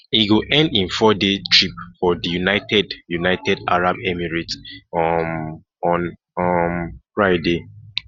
e go end im fourday trip for di united united arab emirates um on um friday